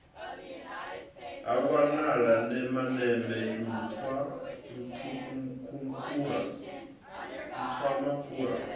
ha wanala nemeneme nṱhwa nṱhwamakhura